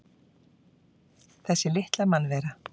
Þessi litla mannvera!